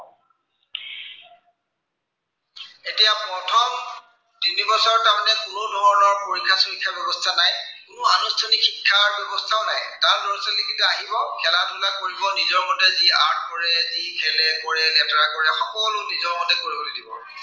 তিনি বছৰ তাৰমানে কোনো ধৰনৰ পৰীক্ষা চৰীক্ষাৰ ব্য়ৱস্থা নাই। কনো আনুষ্ঠানিক শিক্ষা ব্য়ৱস্থাও নাই। তাত লৰা-ছোৱালীকেইটা আহিব, খেলা ধূলা কৰিব, নিজৰ মতে যি art কৰে, যি খেলে কৰে, কৰে সকলো নিজৰ মতে কৰিব পাৰিব।